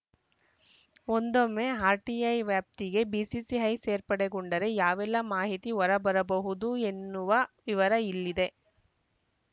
ಒಂದೊಮ್ಮೆ ಆರ್‌ಟಿಐ ವ್ಯಾಪ್ತಿಗೆ ಬಿಸಿಸಿಐ ಸೇರ್ಪಡೆಗೊಂಡರೆ ಯಾವೆಲ್ಲಾ ಮಾಹಿತಿ ಹೊರಬರಬಹುದು ಎನ್ನುವ ವಿವರ ಇಲ್ಲಿದೆ